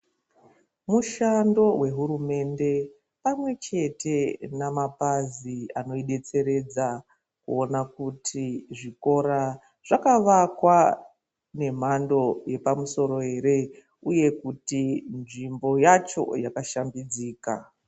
Mushando wehurumende pamwechete nemapazi anoidetseredza kuona kuti zvikoro zvakavakwa nemhando yepamusoro here uye kuti nzvimbo yacho yakashambidzika.